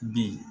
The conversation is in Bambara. Bi